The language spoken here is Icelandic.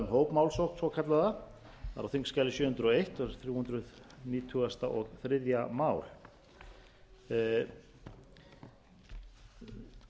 hópmálsókn svokallaða það er á þingskjali sjö hundruð og ein þrjú hundruð nítugasta og þriðja mál